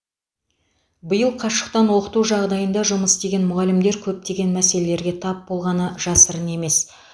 биыл қашықтан оқыту жағдайында жұмыс істеген мұғалімдер көптеген мәселелерге тап болғаны жасырын емес